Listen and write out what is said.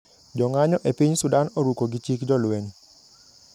Jong`anyo epiny Sudan oruko gi chik jolweny